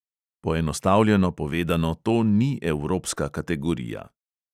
Poenostavljeno povedano, to ni evropska kategorija.